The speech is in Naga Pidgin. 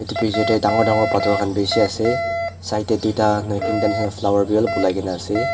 bichae tae dangor dangor phator khan bishi ase side tae tuita nahoi teenta nishi na Flower bi olop olai na ase.